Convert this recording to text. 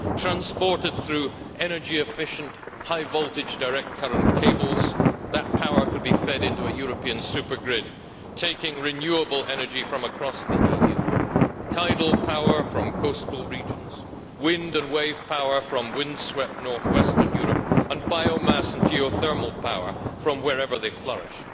Transported through energy efficient, high voltage direct current cables, that power could be fed into a European supergrid, taking renewable energy from across the EU tidal power from coastal regions, wind and wave power from windswept north western Europe, and biomass and geothermal power from wherever they flourish.